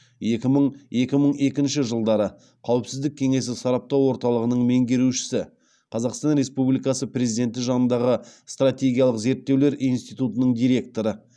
екі мың екі мың екінші жылдары қауіпсіздік кеңесі сараптау орталығының меңгерушісі қазақстан республикасы президенті жанындағы стратегиялық зерттеулер институтының директоры